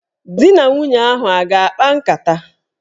Dị na nwunye ahụ a ga-akpa nkata?